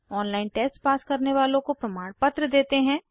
• online test pass करने वालों को प्रमाणपत्र देते हैं